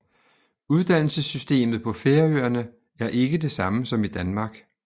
Uddannelsessystemet på Færøerne er ikke det samme som i Danmark